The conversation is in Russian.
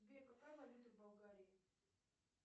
сбер какая валюта в болгарии